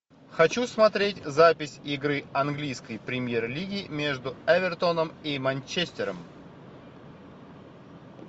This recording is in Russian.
хочу смотреть запись игры английской премьер лиги между эвертоном и манчестером